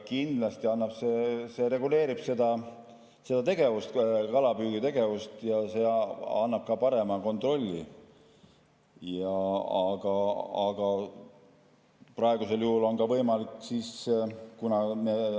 Kindlasti see reguleerib seda kalapüügitegevust ja annab ka parema kontrolli.